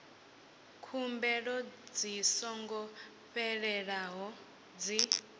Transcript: khumbelo dzi songo fhelelaho dzi